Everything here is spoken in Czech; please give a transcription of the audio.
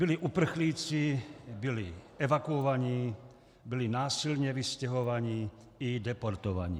Byli uprchlíci, byli evakuovaní, byli násilně vystěhovaní i deportovaní.